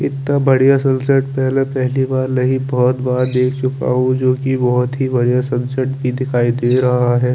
एकदम बढ़िया सनसेट मेने पहली बार नहीं बोहत बार देख चूका हु जबकि बोहोत ही बढ़िया सनसेट दिखाई दे रह है ।